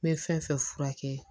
N bɛ fɛn fɛn furakɛ